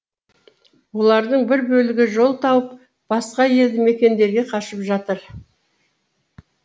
олардың бір бөлігі жол тауып басқа елді мекендерге қашып жатыр